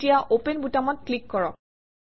এতিয়া অপেন বুটামত ক্লিক কৰক